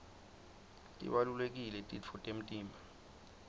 tibalulekile titfo temtimba